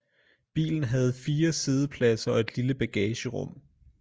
Bilen havde fire siddepladser og et lille bagagerum